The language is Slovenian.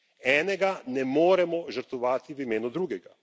Enega ne moremo žrtvovati v imenu drugega.